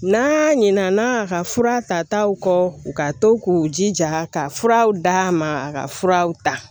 N'a ɲinɛna a ka fura tataw kɔ u ka to k'u jija ka furaw d'a ma a ka furaw ta